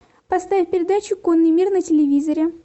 поставь передачу конный мир на телевизоре